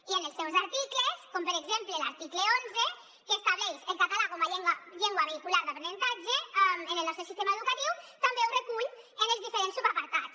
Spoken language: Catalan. i en els seus articles com per exemple l’article onze que estableix el català com a llengua vehicular d’aprenentatge en el nostre sistema educatiu també ho recull en els diferents subapartats